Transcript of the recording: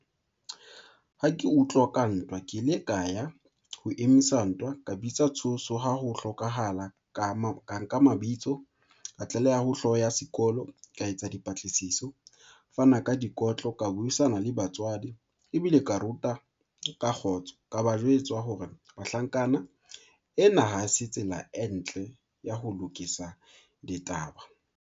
Ha ke utlwa ka ntwa, ke ile ka ya ho emisa ntwa, ka bitsa tshuso ha ho hlokahala, ka nka mabitso, ka tlaleha ho hlooho ya sekolo, ka etsa dipatlisiso, fana ka dikotlo, ka buisana le batswadi ebile ka ruta ka kgotso. Ka ba jwetswa hore bahlankana ena ha se tsela e ntle ya ho lokisa ditaba.